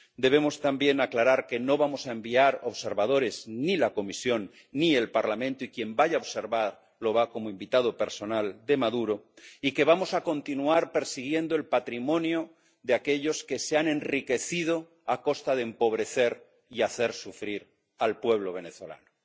Debemos también aclarar que no vamos a enviar observadores ni la Comisión ni el Parlamento ‒y quien vaya a observar va como invitado personal de Maduro‒, y que vamos a continuar persiguiendo el patrimonio de aquellos que se han enriquecido a costa de empobrecer y hacer sufrir al pueblo venezolano.